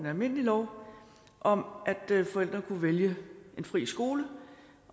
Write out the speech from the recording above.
almindelig lov om at forældre kunne vælge en fri skole